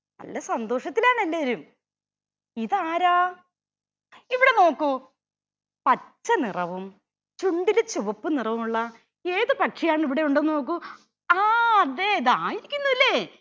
നല്ല സന്തോഷത്തിലാണെല്ലാരും. ഇതാരാ ഇവിടെ നോക്കൂ. പച്ച നിറവും ചുണ്ടിൽ ചുവപ്പ് നിറവുമുള്ള ഏതു പക്ഷിയാന്ന് ഇവിടെ ഉണ്ടോന്ന് നോക്കൂ ആ ദേ ദാ ഇരുക്കുന്നുല്ലേ